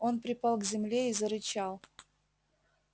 он припал к земле и зарычал